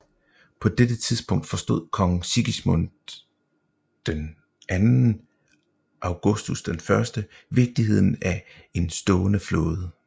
På dette tidspunkt forstod Kong Sigismund II Augustus I vigtigheden af en stående flåde